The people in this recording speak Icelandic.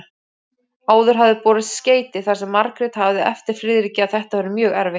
Áður hafði borist skeyti þar sem Margrét hafði eftir Friðriki að þetta væri mjög erfitt.